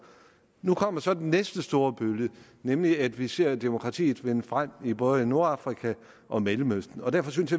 nu kommer så den næste store bølge nemlig at vi ser demokratiet vinde frem i både nordafrika og mellemøsten derfor synes